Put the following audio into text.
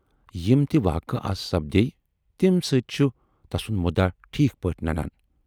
یِم تہِ واقعہٕ اَز سپدییہِ تمہِ سۭتۍ چھُ تسُند مُدعا ٹھیٖک پٲٹھۍ نَنان۔